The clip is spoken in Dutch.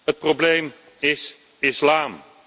Het probleem is de islam.